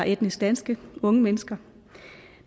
etnisk danske unge mennesker